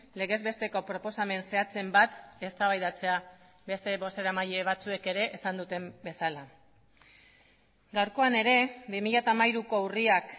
legez besteko proposamen zehatzen bat eztabaidatzea beste bozeramaile batzuek ere esan duten bezala gaurkoan ere bi mila hamairuko urriak